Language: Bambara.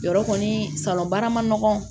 Yɔrɔ kɔni salon baara ma nɔgɔn